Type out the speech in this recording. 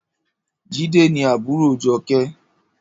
Jide ni àbúró Joke